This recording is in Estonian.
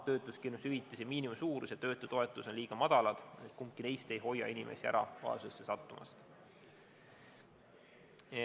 Töötuskindlustushüvitise miinimumsuurus ja töötutoetus on liiga madalad ja kumbki neist ei hoia inimesi vaesusesse sattumast.